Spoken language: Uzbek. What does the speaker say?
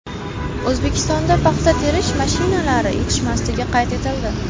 O‘zbekistonda paxta terish mashinalari yetishmasligi qayd etildi.